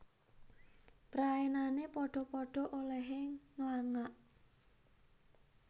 Praenane padha padha olehe nglangak